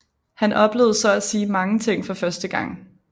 Han oplevede så at sige mange ting for første gang